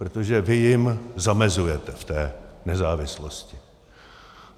Protože vy jim zamezujete v té nezávislosti.